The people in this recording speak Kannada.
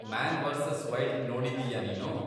ಮ್ಯಾನ್ ವರ್ಸಸ್ ವೈಲ್ಡ್ ನೋಡಿದೀಯಾ ನೀನು?